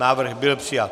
Návrh byl přijat.